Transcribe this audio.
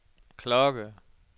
klokke